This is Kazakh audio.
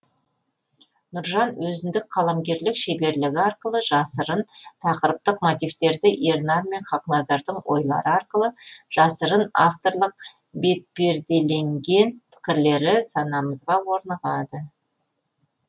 нұржан өзіндік қаламгерлік шеберлігі арқылы жасырын тақырыптық мотивтерді ернар мен хақназардың ойлары арқылы жасырын авторлық бетпеределенген пікірлері санамызға орнығады